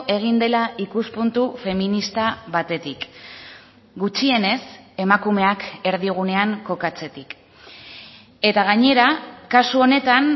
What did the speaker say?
egin dela ikuspuntu feminista batetik gutxienez emakumeak erdigunean kokatzetik eta gainera kasu honetan